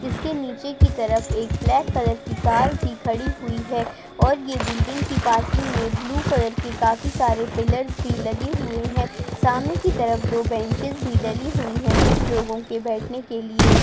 जिसके नीचे की तरफ एक ब्लैक कलर की कार भी खड़ी हुई है और ये बिल्डिंग की पार्किंग में ब्लू कलर की काफी सारे पिलर्स भी लगे हुए हैं सामने की तरफ दो बेंचेस भी डली हुई हैं कुछ लोगो के बैठने के लिए।